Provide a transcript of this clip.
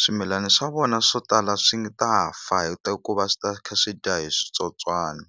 swimilani swa vona swo tala swi ta fa ku va swi ta kha swi dya hi switsotswana.